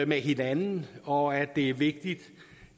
med hinanden og at det er vigtigt